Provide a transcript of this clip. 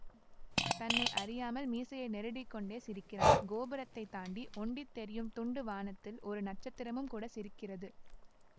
தன்னை அறியாமல் மீசையை நெருடிக்கொண்டே சிரிக்கிறான் கோபுரத்தைத் தாண்டி ஒண்டித் தெரியும் துண்டு வானத்தில் ஒரு நட்சத்திரமும் கூட சிரிக்கிறது